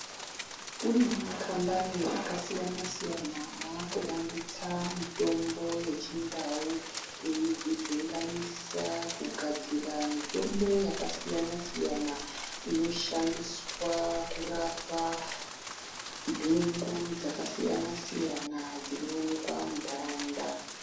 Kune makambani akasiyana siyana akuvandutsa mitombo yechindau eidzivhenganisa kugadzira mitombo yakasiyana siyana inoshandiswa kurpa ntungu dzakasiyana siyana dzinoonekwe muntaraunda.